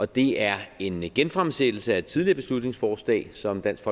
det er en genfremsættelse af et tidligere beslutningsforslag som dansk